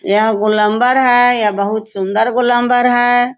यह गोलंबर है यह बहोत सुंदर गोलंबर है।